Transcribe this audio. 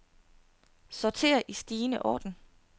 Sorter i stigende orden.